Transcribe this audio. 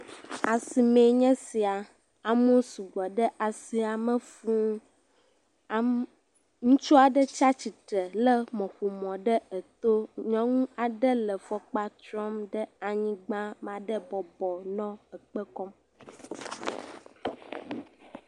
Asi me ye nye sia. Amewo sugbɔ ɖe asi ame fuu. Ame, ŋutsu ɖe tsia tsitre hele mɔƒonu ɖe eto. Nyɔnu aɖe le fɔkpa trɔm ɖe anyigba, ma ɖe bɔbɔ nɔ ekpe kɔm